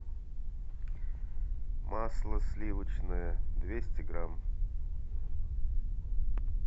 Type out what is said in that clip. масло сливочное двести грамм